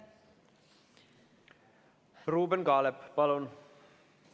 Ruuben Kaalep, palun!